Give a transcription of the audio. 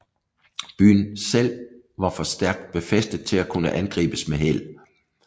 Byen selv var for stærkt befæstet til at kunne angribes med held